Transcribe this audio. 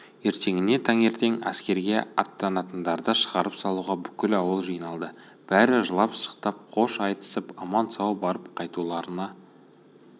ертеңіне таңертең әскерге аттанатындарды шығарып салуға бүкіл ауыл жиналды бәрі жылап-сықтап қош айтысып аман-сау барып қайтуларына